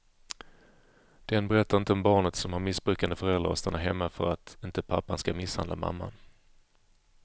Den berättar inte om barnet som har missbrukande föräldrar och stannar hemma för att inte pappan ska misshandla mamman.